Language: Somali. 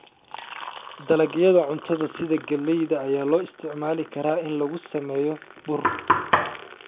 Dalagyada cuntada sida galleyda ayaa loo isticmaali karaa in lagu sameeyo bur.